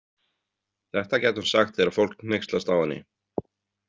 Þetta gæti hún sagt þegar fólk hneykslast á henni.